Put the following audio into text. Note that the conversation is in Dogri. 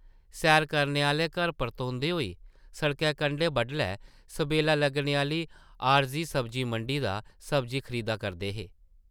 सैर करने आह्ले घर परतोंदे होई सड़कै कंढै बडलै सबेला लग्गने आह्ली आरज़ी सब्जी-मंडी दा सब्जी खरीदा करदे हे ।